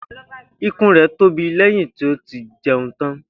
Ikùn rẹ̀ tóbi lẹ́yìn tí ó ti jẹun tán